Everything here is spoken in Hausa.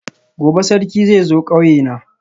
gobe Sarki zai zo kauyena